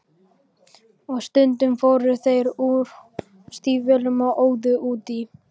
Og stundum fóru þeir úr stígvélunum og óðu út í.